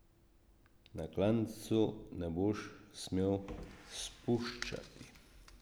Na klancu ne boš smel spuščati.